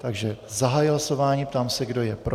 Takže zahajuji hlasování, ptám se, kdo je pro.